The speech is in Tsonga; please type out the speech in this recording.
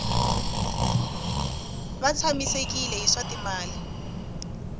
va tshamisekile hi swa timali